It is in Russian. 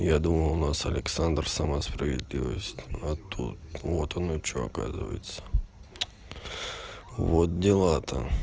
я думал у нас александр сама справедливость а тут вот оно что оказывается вот дела то